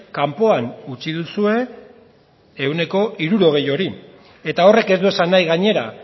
kanpoan utzi duzue ehuneko hirurogei hori eta horrek ez du esan nahi gainera